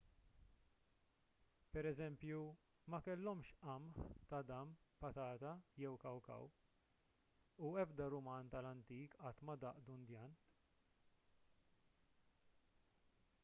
pereżempju ma kellhomx qamħ tadam patata jew kawkaw u ebda ruman tal-antik qatt ma daq dundjan